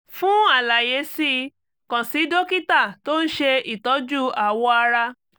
fún àlàyé sí i kàn sí dókítà tó ń ṣe ìtọ́jú awọ ara